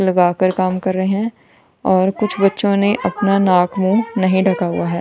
लगाकर काम कर रहे है और कुछ बच्चों ने अपना नाक मुंह नहीं ढका हुआ है।